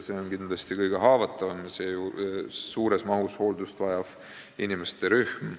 See on kindlasti kõige haavatavam ja suures mahus hooldust vajav inimesterühm.